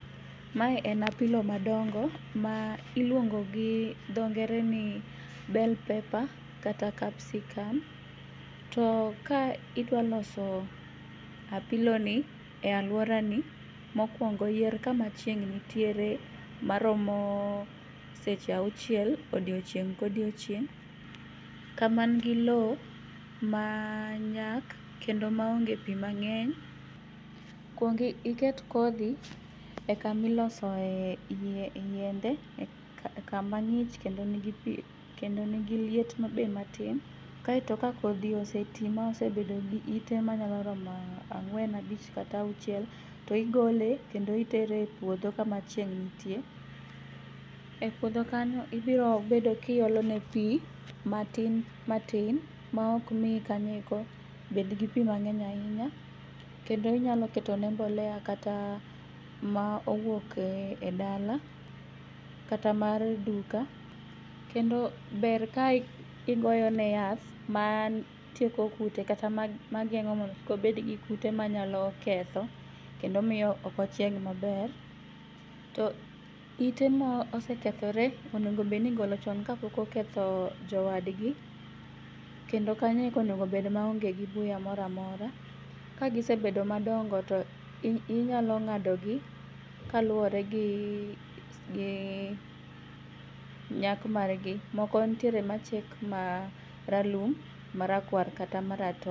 Mae en apilo madongo ma iluongo gi dho ngere ni bell pepper kata capsicum to ka idwaloso apiloni e aluorani, mokuongo yier kama chieng' ntiere maromo seche auchiel odiochieng' kodiochieng',kamangi loo manyak kendo maonge pii mang'eny. Kuong iket kodhi e kamilosoe yiende, kama ng'ich kendo nigi pii kendo nigi liet be matin. Kae to ka kodhi osetii maosebedo gi iite manyaloromo ang'uen abich kata auchiel to igole kendo itere e puodho kama chieng' ntie.E puodho kanyo ibirobedo kiolone pii matin matin maokmii kanyo eko bedgi pii mang'eny ainya kendo inyaloketone mbolea kata maowuoke edala kata mar duka. Kendo ber ka igoyone yath matieko kute katamageng'o mondo kik obedgi kute manyalo ketho kendo miyo okochieg maber to ite mosekethore onegobedo nigolo chon kapokoketho jowadgi kendo kanyo okonego bed gi buya moramora .Ka gisebedo madongo to inyalo ng'adogi kaluore gi, gi nyak margi. Moko nitiere machiek maralum, marakwar kata maratong'.